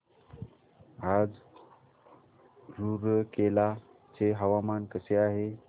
आज रूरकेला चे हवामान कसे आहे